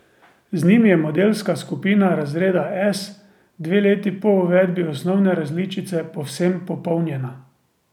Z njim je modelska skupina razreda S dve leti po uvedbi osnovne različice povsem popolnjena.